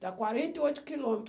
Dá quarenta e oito quilômetro.